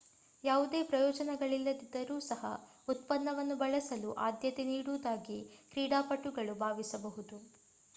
ಯಾವುದೇ ಪ್ರಯೋಜನಗಳಿಲ್ಲದಿದ್ದರೂ ಸಹ ಉತ್ಪನ್ನವನ್ನು ಬಳಸಲು ಆದ್ಯತೆ ನೀಡುವುದಾಗಿ ಕ್ರೀಡಾಪಟುಗಳು ಭಾವಿಸಬಹುದು